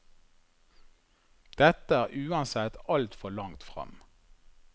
Dette er uansett altfor langt frem.